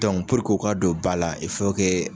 o ka don ba la